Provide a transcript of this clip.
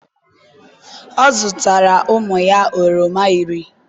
ọ zụtara ụmụ ya oroma iri